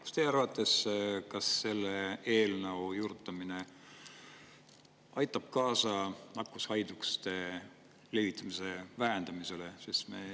Kas teie arvates selle juurutamine aitab kaasa nakkushaiguste levitamise vähendamisele?